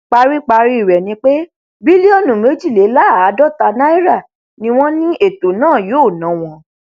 paríparí rẹ ni pé bílíọnù méjìléláàádọta náírà ni wọn ní ètò náà yóò ná wọn